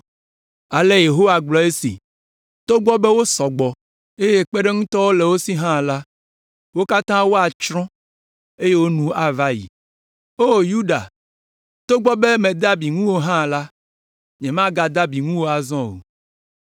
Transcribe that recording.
Ale Yehowa gblɔe nye esi: “Togbɔ be wosɔ gbɔ, eye kpeɖeŋutɔwo le wo si hã la, wo katã woatsrɔ̃, eye wo nu ava ayi. O Yuda, togbɔ be mede abi ŋuwò hã la, nyemagade abi ŋuwò azɔ o.